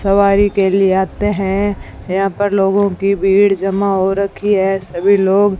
सवारी के लिए आते हैं यहां पर लोगों की भीड़ जमा हो रखी है सभी लोग--